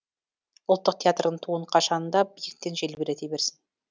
ұлттық театрдың туын қашан да биіктен желбірете берсін